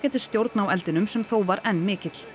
stjórn á eldinum sem þó var enn mikill